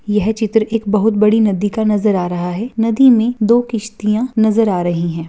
यह चित्र एक बहुत बड़ी नदी का नजर आ रहा है नदी में दो किश्तियाँ नजर आ रही हैं।